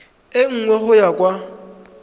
e nngwe go ya kwa